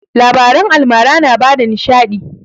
Labaran almara na bada nishaɗi